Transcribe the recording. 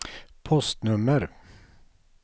postnummer